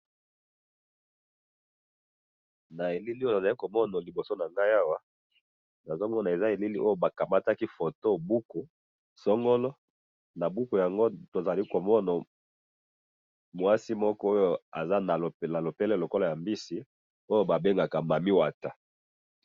Awa elili nazo mona liboso na nga, eza elili ya buku bakamataki photo buku somnole, na buku yango tozali komona mwasi oyo azali, na lopele lokola ya mbisi Oui babengaka mami wata.